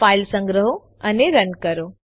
file સંગ્રહો અને run કરો